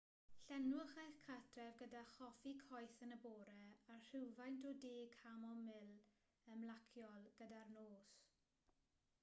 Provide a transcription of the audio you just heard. llenwch eich cartref gyda choffi coeth yn y bore a rhywfaint o de camomil ymlaciol gyda'r nos